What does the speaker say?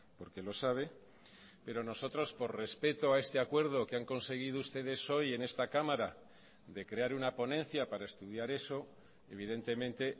porque lo sabe pero nosotros por respeto a este acuerdo que han conseguido ustedes hoy en esta cámara de crear una ponencia para estudiar eso evidentemente